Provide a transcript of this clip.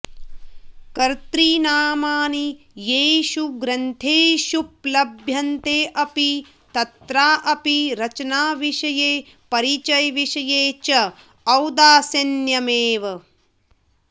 कतृ नामानि येषु ग्रन्थेषुपलभ्यन्तेऽपि तत्राऽपि रचनाविषये परिचयविषये च औदासीन्यमेव